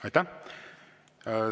Aitäh!